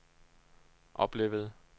oplevede